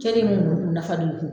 Kelen min don u nafa don i kun